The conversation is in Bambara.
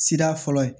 Sira fɔlɔ ye